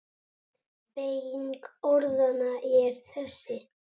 Beyging orðanna er þessi